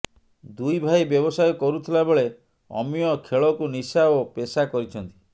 ଦୁଇ ଭାଇ ବ୍ୟବସାୟ କରୁଥିଲା ବେଳେ ଅମୀୟ ଖେଳକୁ ନିଶା ଓ ପେସା କରିଛନ୍ତି